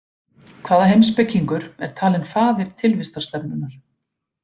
Hvaða heimspekingur er talinn faðir tilvistarstefnunnar?